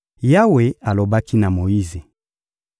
Yawe alobaki na Moyize: